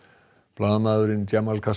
blaðamaðurinn